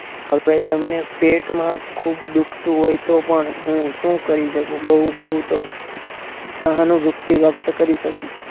હવે તમને પેટમાં ખુબ દુખતું હોય તો પણ હું શું કરી શકું બહુ તો સહાનુંભૂતી વ્યક્ત કરી શકું.